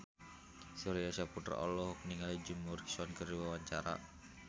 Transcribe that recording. Surya Saputra olohok ningali Jim Morrison keur diwawancara